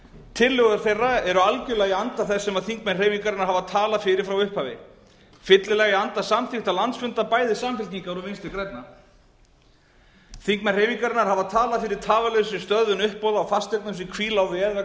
tillögur þeirra eru algjörlega í anda þess sem þingmenn hreyfingarinnar hafa talað fyrir frá upphafi fyllilega í anda samþykkta landsfunda bæði samfylkingar og vinstri grænna þingmenn hreyfingarinnar hafa talað fyrir tafarlausri stöðvun uppboða á fasteignum sem hvíla á veð vegna